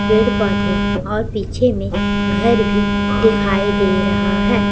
पेड़ पौधे और पीछे में घर भी दिखाई दे रहा है।